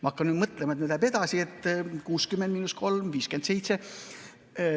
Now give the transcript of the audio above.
Ma hakkan mõtlema, et nüüd edasi läheb, 60 miinus 3 on 57.